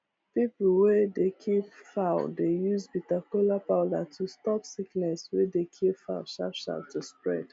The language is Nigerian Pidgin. people wey dey keep fowl dey use bitter kola powder to stop sickness wey dey kill fowl sharp sharp to spread